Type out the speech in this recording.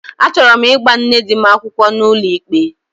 Achọrọ m ịgba nne di m akwụkwọ n'ụlọikpe